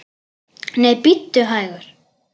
Nei, bíddu hægur!